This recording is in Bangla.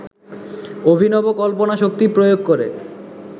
অভিনব কল্পনাশক্তি প্রয়োগ করে